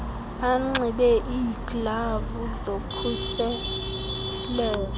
banxibe iiglavu zokhuseleko